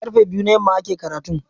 Karfe biyu na yamma ake karatun.